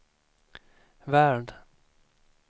värld